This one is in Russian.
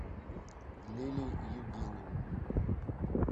лилии евгеньевны